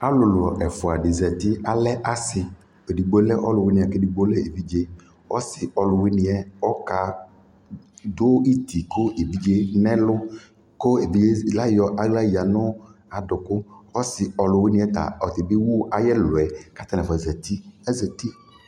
Alʋlʋ ɛfua dι zati, alɛ asi Edigbo lɛ ɔlʋwini, edigbo lɛ evidze Ɔsi ɔlʋwini yɛ ɔkadʋ itι kʋ evidze yɛ nʋ ɛlʋ kʋ evidze yɛ layɔ aɣla ya nʋ adukʋ Ɔsi ɔlʋwini yɛ ta ekewʋ ayʋ ɛlʋ yɛ kʋ atani fa zati, azati